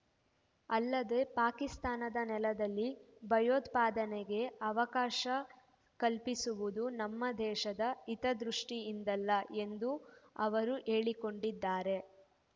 ಅಲ್ಲದೆ ಪಾಕಿಸ್ತಾನದ ನೆಲದಲ್ಲಿ ಭಯೋತ್ಪಾದನೆಗೆ ಅವಕಾಶ ಕಲ್ಪಿಸುವುದು ನಮ್ಮ ದೇಶದ ಹಿತದೃಷ್ಟಿಯಿಂದಲ್ಲ ಎಂದೂ ಅವರು ಹೇಳಿಕೊಂಡಿದ್ದಾರೆ